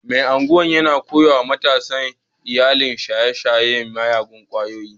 Mai Agwan yana koya wa matasa illar shaye-shayen miyagun kwayoyi